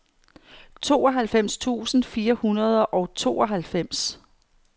tooghalvfems tusind fire hundrede og tooghalvfems